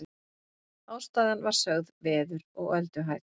Ástæðan var sögð veður og ölduhæð